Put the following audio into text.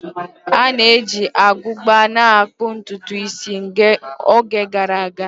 A na-eji agụba na akpu ntutu isi n'oge gara aga